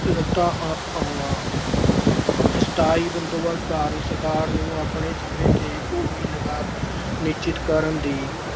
ਸਥਾਈ ਬੰਦੋਬਸਤ ਕਾਰਨ ਸਰਕਾਰ ਨੂੰ ਆਪਣੇ ਸਮੇਂ ਤੇ ਭੂਮੀ ਲਗਾਨ ਨਿਸ਼ਚਿਤ ਕਰਨ ਦੀ